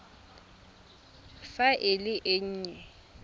fa e le e nnye